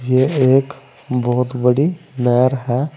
ये एक बहोत बड़ी लेहर है।